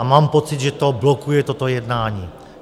A mám pocit, že to blokuje toto jednání.